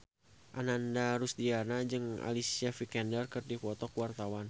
Ananda Rusdiana jeung Alicia Vikander keur dipoto ku wartawan